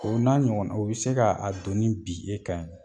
O n'a ɲɔgɔnna o bɛ se k'a doni bi e kan yen.